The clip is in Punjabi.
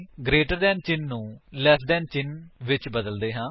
ਗਰੇਟਰ ਦੈਨ ਚਿੰਨ੍ਹ ਨੂੰ ਲੈਸ ਦੈਨ ਚਿੰਨ੍ਹ ਤੋਂ ਬਦਲਦੇ ਹਾਂ